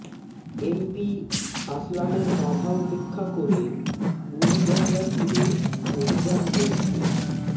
MP আসলামের বাধা উপেক্ষা করে বুড়িগঙ্গা তীরে অভিযান চলছে